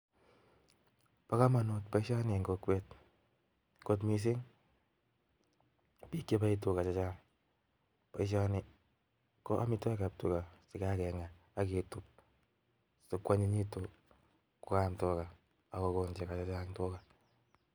Bokomonut boishoni en kokwet kot mising, biik cheboe tukaa chechang, ko chon ko amitwokik tukaa chekakeng'a aketub sikwonyinyekitun kwaam tukaa ak kokon chekoo chechang tukaa.